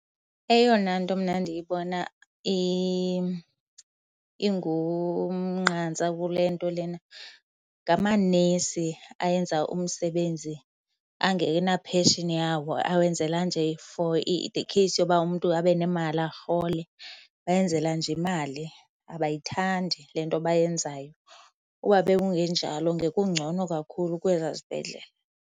Eyona nto mna ndiyibona ingumnqantsa kule nto lena ngamanesi ayenza umsebenzi angena-passion yawo, awenzela nje for the case yoba umntu abe nemali arhole. Bayenzela nje imali abayithandi le nto bayenzayo. Ukuba bekungenjalo ngekungcono kakhulu kwezaa zibhedlele.